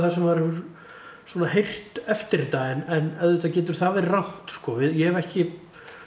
sem maður hefur heyrt eftir þetta en auðvitað getur það verið rangt sko ég hef ekki